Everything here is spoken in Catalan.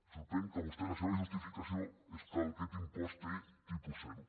sorprèn que vostè la seva justificació és que aquest impost té tipus zero